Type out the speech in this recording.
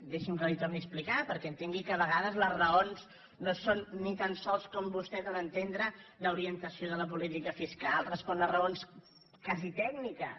deixi’m que li ho torni a explicar perquè entengui que de vegades les raons no són ni tan sols com vostè dóna a entendre d’orientació de la política fiscal responen a raons quasi tècniques